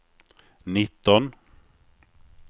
nitton